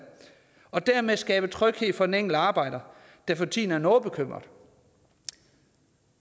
og dermed skabe tryghed for den enkelte arbejder der for tiden er noget bekymret